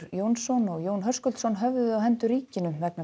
Jónsson og Jón Höskuldsson höfðuðu á hendur ríkinu vegna